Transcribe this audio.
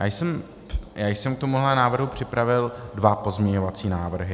Já jsem k tomuhle návrhu připravil dva pozměňovací návrhy.